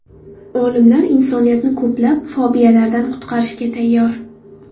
Olimlar insoniyatni ko‘plab fobiyalardan qutqarishga tayyor.